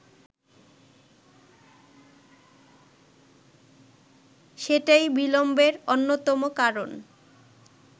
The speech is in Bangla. সেটাই বিলম্বের অন্যতম কারণ